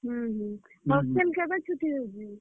ହୁଁ ହୁଁ, hostel କେଭେ ଛୁଟି ହେସି?